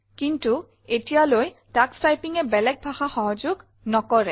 কিন্তু এতিয়ালৈ তোষ Typingএ বেলেগ ভাষা সহযোগ নকৰে